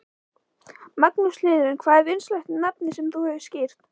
Magnús Hlynur: Hvað er vinsælasta nafnið sem þú skírt?